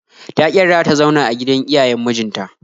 Ta ƙi yarda ta zauna a gidan iyayen mijin ta